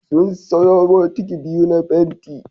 Sun siyo bukiti biyu na fenti